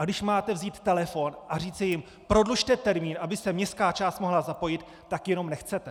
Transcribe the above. A když máte vzít telefon a říci jim "prodlužte termín, aby se městská část mohla zapojit", tak jenom nechcete!